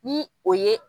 Ni o ye